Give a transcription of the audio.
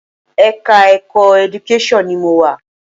Ẹ̀ka-ẹ̀kọ́ Education ni mo wà.